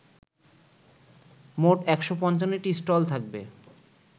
মোট ১৫৫টি স্টল থাকবে